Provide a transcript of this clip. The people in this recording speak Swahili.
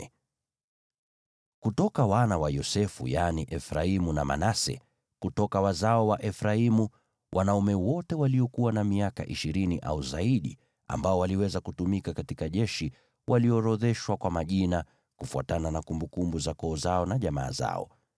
Kutoka wana wa Yosefu: Kutoka wazao wa Efraimu: Wanaume wote waliokuwa na miaka ishirini au zaidi ambao waliweza kutumika katika jeshi waliorodheshwa kwa majina, kufuatana na kumbukumbu za koo zao na jamaa zao.